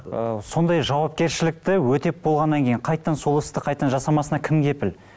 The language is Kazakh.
ы сондай жауапкершілікті өтеп болғаннан кейін қайтадан сол істі қайтадан жасамасына кім кепіл